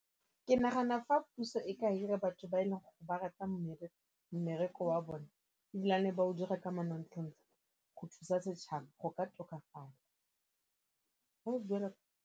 Ke nagana fa puso e ka hira batho ba e leng go ba rata mmereko wa bone ebilane ba o dira ka manontlhotlho go thusa setšhaba go ka tokafala .